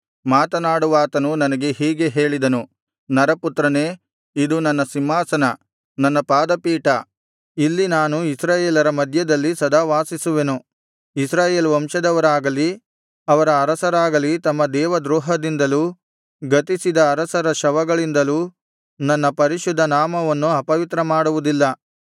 ಮಾತನಾಡುವಾತನು ನನಗೆ ಹೀಗೆ ಹೇಳಿದನು ನರಪುತ್ರನೇ ಇದು ನನ್ನ ಸಿಂಹಾಸನ ನನ್ನ ಪಾದ ಪೀಠ ಇಲ್ಲಿ ನಾನು ಇಸ್ರಾಯೇಲರ ಮಧ್ಯದಲ್ಲಿ ಸದಾ ವಾಸಿಸುವೆನು ಇಸ್ರಾಯೇಲ್ ವಂಶದವರಾಗಲಿ ಅವರ ಅರಸರಾಗಲಿ ತಮ್ಮ ದೇವದ್ರೋಹದಿಂದಲೂ ಗತಿಸಿದ ಅರಸರ ಶವಗಳಿಂದಲೂ ನನ್ನ ಪರಿಶುದ್ಧ ನಾಮವನ್ನು ಅಪವಿತ್ರ ಮಾಡುವುದಿಲ್ಲ